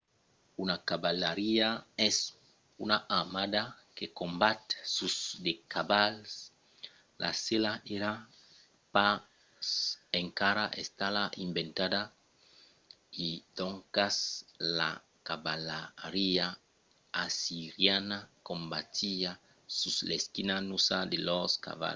una cavalariá es una armada que combat sus de cavals. la sèla èra pas encara estada inventada e doncas la cavalariá assiriana combatiá sus l'esquina nusa de lors cavals